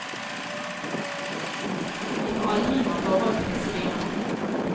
Vi får aldri noe forhold til disse dyrene.